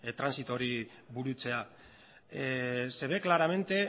trantsitu hori burutzea se ve claramente